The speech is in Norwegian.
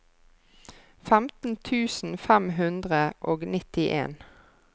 femten tusen fem hundre og nittien